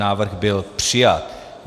Návrh byl přijat.